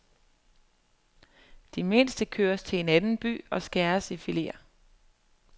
De mindste køres til en anden by og skæres i fileter.